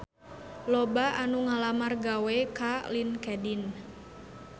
Loba anu ngalamar gawe ka Linkedin